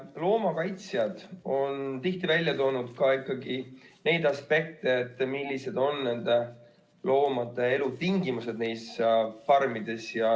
Loomakaitsjad on tihti välja toonud neid aspekte, millised on loomade elutingimused nendes farmides.